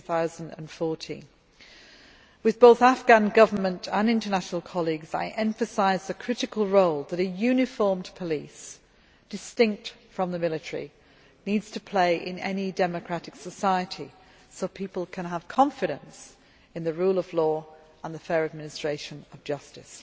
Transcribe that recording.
2014. With both the Afghan Government and international colleagues, I emphasised the critical role that a uniformed police distinct from the military needs to play in any democratic society so that people can have confidence in the rule of law and the fair administration of justice.